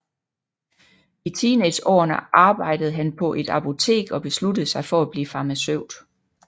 I teenageårene arbejde han på et apotek og besluttede sig for at blive farmaceut